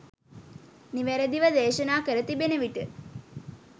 නිවැරදිව දෙසනා කර තිබෙනවිට.